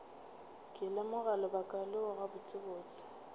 ke lemoga lebaka leo gabotsebotse